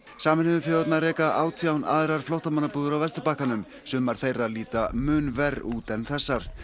sameinuðu þjóðirnar reka átján aðrar flóttamannabúðir á Vesturbakkanum sumar þeirra líta mun verr út en þessar